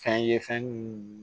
Fɛn ye fɛn mun